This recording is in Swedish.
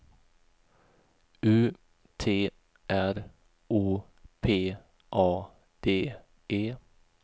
U T R O P A D E